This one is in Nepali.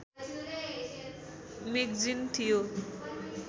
मेगजिन थियो